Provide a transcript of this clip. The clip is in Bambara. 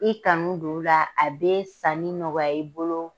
I kanu don u la, a bi sanni nɔgɔya i bolo